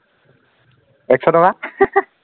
একশ টকা